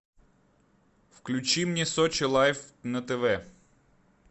включи мне сочи лайф на тв